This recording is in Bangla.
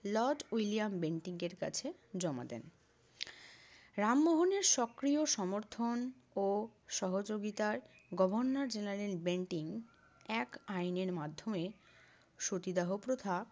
লর্ড উইলিয়াম বেন্টিঙ্কের কাছে জমা দেন। রামমোহনের সক্রিয় সমর্থন ও সহযোগিতায় গভর্নর জেনারেল বেন্টিঙ্ক এক আইনের মাধ্যমে সতীদাহ প্রথা